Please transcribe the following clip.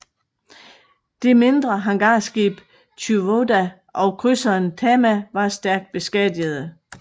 Det mindre hangarskib Chiyoda og krydseren Tama var stærkt beskadigede